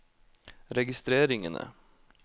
registreringene